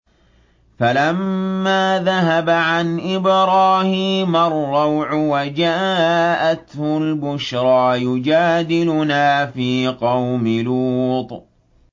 فَلَمَّا ذَهَبَ عَنْ إِبْرَاهِيمَ الرَّوْعُ وَجَاءَتْهُ الْبُشْرَىٰ يُجَادِلُنَا فِي قَوْمِ لُوطٍ